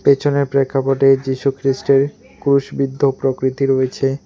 পেছনের প্রেক্ষাপটে যীশু খ্রীষ্টের ক্রুশবিদ্ধ প্রকৃতি রয়েছে।